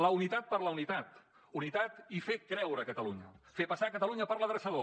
la unitat per la unitat unitat i fer creure catalunya fer passar catalunya per l’adreçador